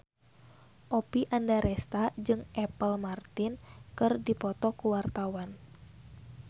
Oppie Andaresta jeung Apple Martin keur dipoto ku wartawan